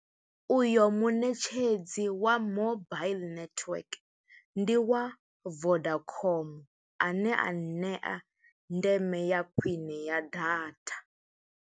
Uyo muṋetshedzi wa mobile network, ndi wa Vodacom. A ne a ṋea ndeme ya khwiṋe ya data.